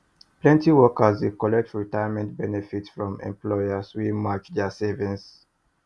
plenty workers dey collect retirement benefits from employers wey match their savings